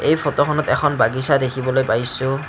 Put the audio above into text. এই ফটোখনত এখন বাগিছা দেখিবলৈ পাইছোঁ।